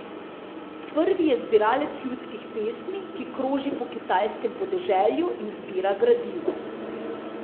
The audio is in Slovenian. Prvi je zbiralec ljudskih pesmi, ki kroži po kitajskem podeželju in zbira gradivo.